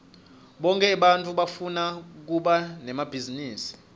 bonkhe ebantfu bafuna kuba nemabhizinisi